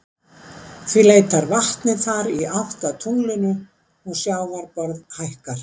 Því leitar vatnið þar í átt að tunglinu og sjávarborð hækkar.